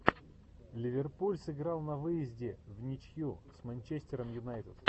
ливерпуль сыграл на выезде вничью с манчестером юнайтед